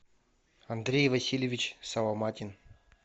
андрей васильевич соломатин